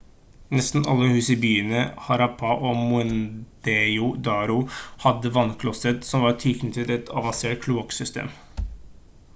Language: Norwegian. nesten alle hus i byene i harappa og mohenjo-daro hadde vannklosett som var tilknyttet et avansert kloakksystem